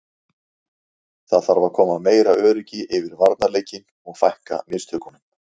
Það þarf að koma meira öryggi yfir varnarleikinn og fækka mistökunum.